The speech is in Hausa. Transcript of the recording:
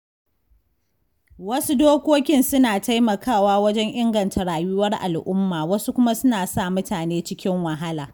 Wasu dokokin suna taimakawa wajen inganta rayuwar al'umma wasu kuma suna sa mutane cikin wahala.